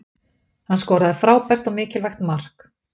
Hann skoraði frábært og mikilvægt mark